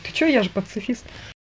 ты что я же пацифист